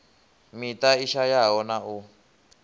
miṱa i shayaho na u